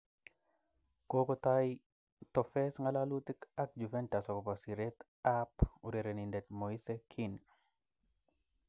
(Express)Kokotoi The Toffees ngalalutik ak Juventus akobo siret a urerenindet Moise Kean.